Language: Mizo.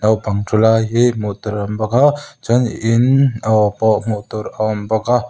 naupang thu lai hi hmuh tur awm bawk a chuan in aw pawh hmuh tur a awm bawk a.